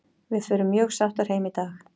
Við förum mjög sáttar heim í dag.